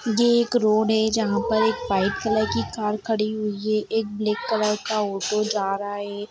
ये एक रोड है जहा पर एक व्हाइट कलर की कार खड़ी हुई है एक ब्लैक कलर का ऑटो जा रहा हैं।